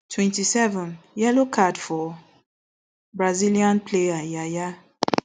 twenty-seven yellow card for brazilian player yaya